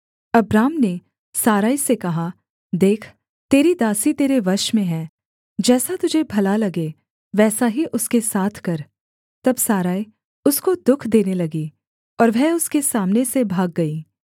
Abram ने Sarai से कहा देख तेरी दासी तेरे वश में है जैसा तुझे भला लगे वैसा ही उसके साथ कर तब सारै उसको दुःख देने लगी और वह उसके सामने से भाग गई